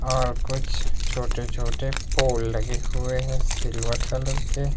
और कुछ छोटे छोटे पोल लगे हुए हैं सिल्वर कलर के।